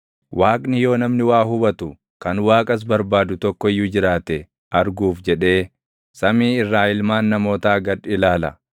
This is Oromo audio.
Waaqni yoo namni waa hubatu, kan Waaqas barbaadu tokko iyyuu jiraate arguuf jedhee, samii irraa ilmaan namootaa gad ilaala.